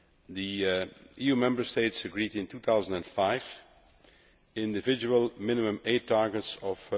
The EU Member States agreed in 2005 individual minimum aid targets of